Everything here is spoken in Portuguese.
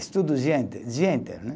Estudo o dia intei, dia inteiro, né?